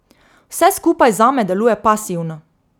Vse skupaj zame deluje pasivno.